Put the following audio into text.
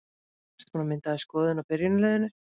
Ertu búinn að mynda þér skoðun á byrjunarliðinu?